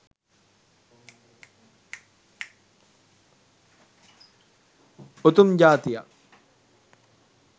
උතුම් ජාතියක්.